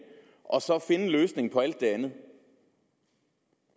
og så finde en løsning på alt det andet